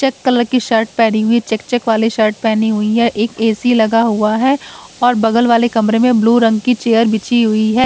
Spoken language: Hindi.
चेक कलर की शर्ट पहनी हुई चेक चेक वाली शर्ट पहनी हुई है एक ए_सी लगा हुआ है और बगल वाले कमरे में ब्लू रंग की चेयर बिछी हुई है।